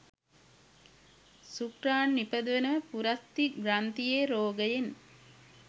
ශුක්‍රාණු නිපදවන පුරස්ථි ග්‍රන්ථියේ රෝගයෙන්